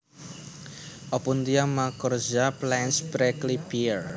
Opuntia macrorhiza Plains Prickly Pear